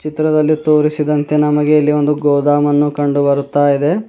ಚಿತ್ರದಲ್ಲಿ ತೋರಿಸಿದಂತೆ ನಮಗೆ ಇಲ್ಲಿ ಒಂದು ಗೊದಮನ್ನು ಕಂಡು ಬರುತ್ತ ಇದೆ.